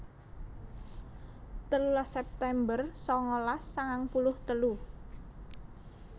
telulas september sangalas sangang puluh telu